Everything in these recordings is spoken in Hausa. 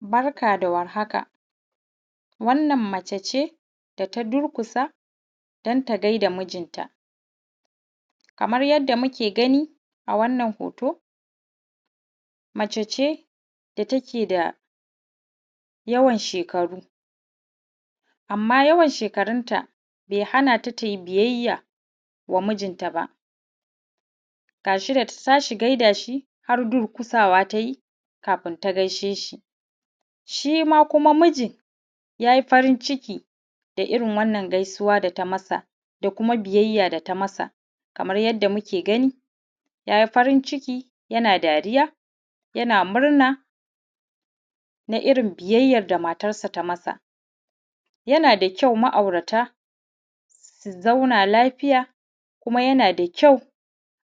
Barka da warhaka wannan mace ce da ta durƙusa don ta gaida mijinta. Kamar yadda muke gani a wannan hoto, mace ce da take da yawan shekaru amman yawan shekarunta bai hanata tai biyayya wa mijinta ba, ga shi da ta tashi gaida shi har durƙusa wa ta yi kafin ta gaishe shi. Shima kuma mijin yayi farin ciki da irin wannan gaisuwa da ta masa da kuma biyayya da ta masa, kamar yadda muke gani yayi farin ciki yana dariya yana murna na irin biyayyan da matansa ta masa. Yana da kyau ma'aurata su zauna lafiya, kuma yana da kyau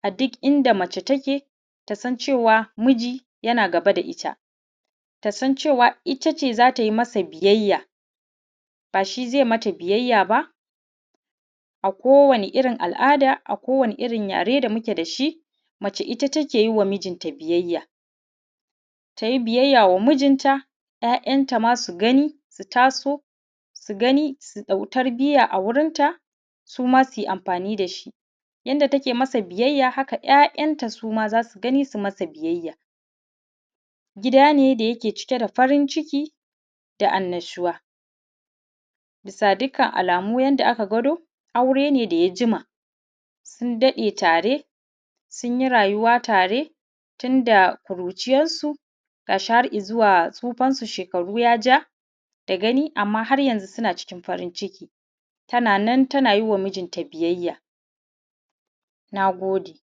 a duk inda mace take ta san cewa miji yana gaba da ita, ta san cewa itace za ta masa biyayya ba shi zai mata biyayya ba. A kowane irin al’ada, a kowane irin yare, da muke da shi mace ita take ma mijinta biyayya. Ta yi biyayya wa mijinta ‘ya'yanta ma su gani su taso, su gani su ɗau tarbiya a gurin ta, suma suyi amfani da shi. Yadda take masa biyayya haka ‘ya'yan ta suma za su gani su masa biyayya. Gida ne da yake cike da farin ciki da annashuwa. Bisa dukkan alamu yadda aka gwado aure ne daya jima, sun daɗe tare sun yi rayuwa tare, tunda ƙuriciyansu ga shi har izuwa tsufansu. Shekaru ya ja da gani. Amman har yanxu suna cikin farin ciki tana nan tana yiwaa mijinta biyayya. Nagode.